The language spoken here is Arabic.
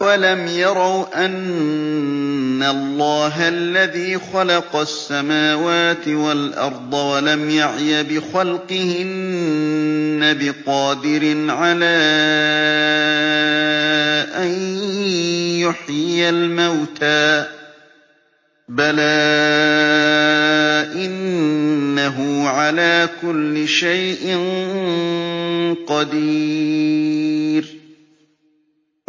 أَوَلَمْ يَرَوْا أَنَّ اللَّهَ الَّذِي خَلَقَ السَّمَاوَاتِ وَالْأَرْضَ وَلَمْ يَعْيَ بِخَلْقِهِنَّ بِقَادِرٍ عَلَىٰ أَن يُحْيِيَ الْمَوْتَىٰ ۚ بَلَىٰ إِنَّهُ عَلَىٰ كُلِّ شَيْءٍ قَدِيرٌ